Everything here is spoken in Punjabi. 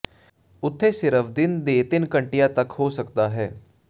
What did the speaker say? ਉੱਥੇ ਸਿਰਫ ਦਿਨ ਦੇ ਤਿੰਨ ਘੰਟੇ ਤੱਕ ਹੋ ਸਕਦਾ ਹੈ